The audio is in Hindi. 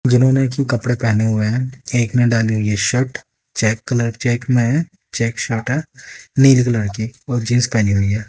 जिन्होंने एक ही कपड़े पहने हुए हैं एक ने डाली हुई है शर्ट चेक कलर चेक में है चेक शर्ट है नीले कलर की और जींस पहनी हुई है।